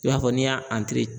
I b'a fɔ n'i y'a